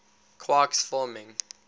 quarks forming